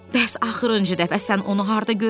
Bəs axırıncı dəfə sən onu harda görmüsən?